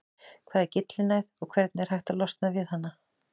Hvað er gyllinæð og hvernig er hægt að losna við hana?